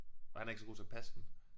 Og han er ikke så god til at passe den